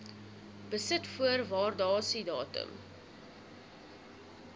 besit voor waardasiedatum